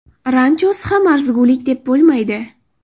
Ranchosi ham arzigulik deb bo‘lmaydi.